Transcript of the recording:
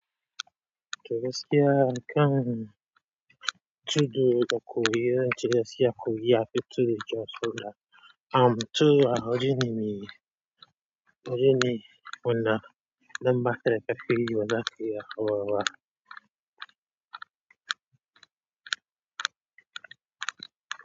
Tuh gaskiya akam tudu gaku yi ran turasya kugu ya fitu da josu da am tu a wajenini wajeni wanda number three kafin yi wadaki ya warwa.